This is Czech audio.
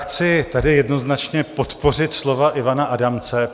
Chci tady jednoznačně podpořit slova Ivana Adamce.